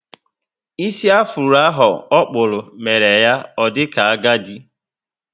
Ísì afuro ahụ okpúrụ, mere ya o dika agadi